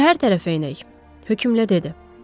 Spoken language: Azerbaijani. Şəhər tərəfə enək, hökmlə dedi.